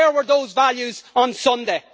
Where were those values on Sunday?